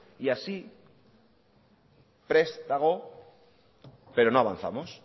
y así prest dago pero no avanzamos